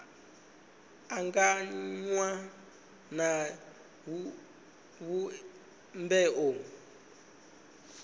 anganywa na zwivhumbeo zwa zwipotso